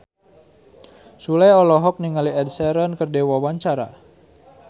Sule olohok ningali Ed Sheeran keur diwawancara